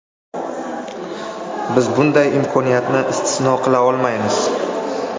Biz bunday imkoniyatni istisno qila olmaymiz”.